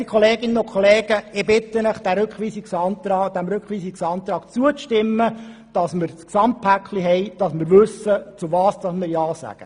Geschätzte Kolleginnen und Kollegen, ich bitte Sie, diesem Rückweisungsantrag zuzustimmen, damit wir ein Gesamtpaket erhalten und wissen, wozu wir ja sagen.